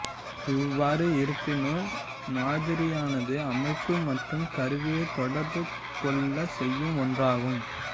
இவ்வாறு இருப்பினும் மாதிரியானது அமைப்பு மற்றும் கருவியை தொடர்பு கொள்ளச் செய்யும் ஒன்றாகும்